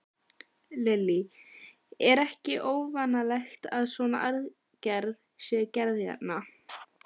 Lillý: Er ekki óvanalegt að svona aðgerð sé gerð hérna?